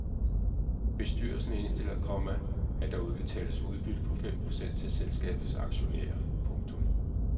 Bestyrelsen indstiller, komma at der udbetales udbytte på fem procent til selskabets aktionærer. punktum